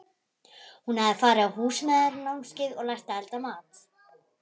Hún hafði farið á Húsmæðranámskeið og lært að elda mat.